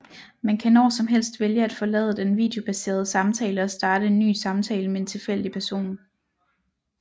Man kan når som helst vælge at forlade den videobaserede samtale og starte en ny samtale med en tilfældig person